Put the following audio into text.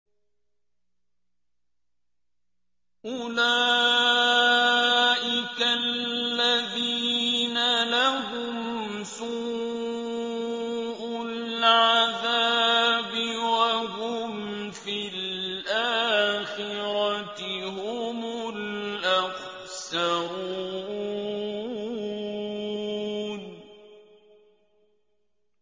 أُولَٰئِكَ الَّذِينَ لَهُمْ سُوءُ الْعَذَابِ وَهُمْ فِي الْآخِرَةِ هُمُ الْأَخْسَرُونَ